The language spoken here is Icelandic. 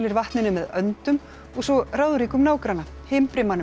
vatninu með öndum og svo ráðríkum nágranna